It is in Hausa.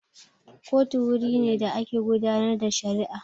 Kotu wuri ne da ake gudanar da shari'a